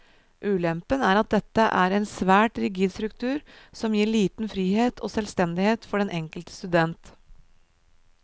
Ulempen er at dette er en svært rigid struktur som gir liten frihet og selvstendighet for den enkelte student.